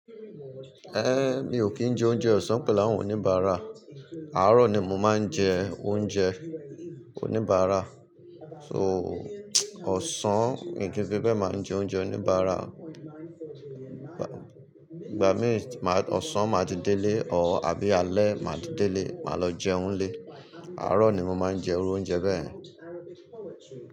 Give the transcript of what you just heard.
Ehn, mi ò kí ń jẹ oúnjẹ ọ̀sán pẹ̀lú àwọn oníbàárà. Àárọ̀ ni mo máa ń jẹ oúnjẹ oníbàárà. So, ọ̀sán, mii ki fí bẹ́ẹ̀ màá jẹ oúnjẹ oníbàárà. Ìgbà mìí, ọ̀sán màá ti dé ilé, or àbí alẹ́ màá ti dé ilé, màá lọ jẹun n lé. Àárọ̀ ni mo máa ń jẹ iru oúnjẹ bẹ́ẹ̀.